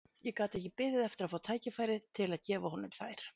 Ég gat ekki beðið eftir að fá tækifæri til að gefa honum þær.